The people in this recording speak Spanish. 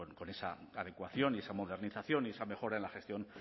con esa adecuación y esa modernización y esa mejora en la gestión